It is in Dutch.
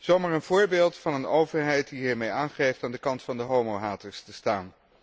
Zo maar een voorbeeld van een overheid die hiermee aangeeft aan de kant van de homohaters te staan.